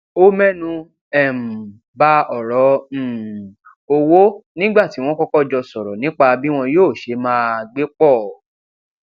ó ménu um ba òrọ um owó nígbà tí wón kókó jọ sòrò nípa bí wón yóò ṣe máa gbé pò